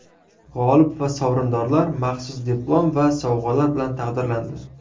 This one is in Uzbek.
G‘olib va sovrindorlar maxsus diplom va sovg‘alar bilan taqdirlandi.